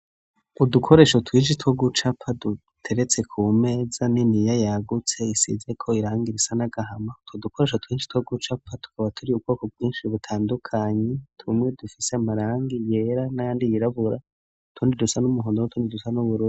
Udukoresho twinshi two gucapa duteretse ku meza niniya yagutse, isize ko irangi irisa n'agahama two dukoresho twinshi two gucapa tukaba turi ubwoko bwinshi butandukanyi, tumwe dufise amarangi yera n'ayandi yirabura utundi dusa n'umuhondo w'o tundi dusa nubururu.